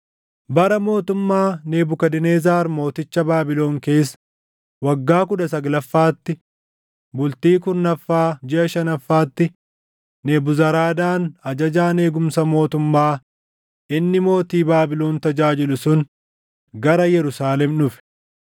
Bara mootummaa Nebukadnezar mooticha Baabilon keessa waggaa kudha saglaffaatti, bultii kurnaffaa jiʼa shanaffaatti Nebuzaradaan ajajaan eegumsa mootummaa inni mootii Baabilon tajaajilu sun gara Yerusaalem dhufe.